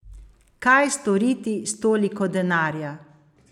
Kaj storiti s toliko denarja?